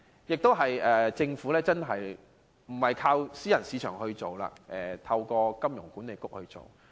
年金計劃不是由私營市場推行，而是透過香港金融管理局營運。